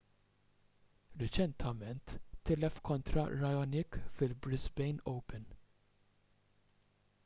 riċentement tilef kontra raonic fil-brisbane open